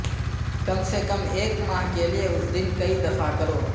کم سے کم ایک ماہ کے لئے اس دن کئی دفعہ کرو